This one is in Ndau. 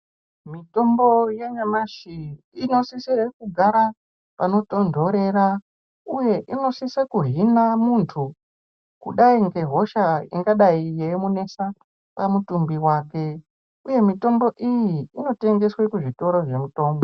Mitombo ya nyamashi ino sise kugara pano tondorera uye inosise kuhina muntu kudai nge hosha ingadai yei munesa pa mutumbi wake uye mitombo iyi ino tengeswe ku zvitoro zve mutombo.